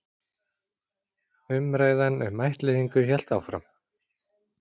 Umræðan um ættleiðingu hélt áfram.